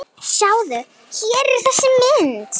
Sjáðu, hér er þessi mynd.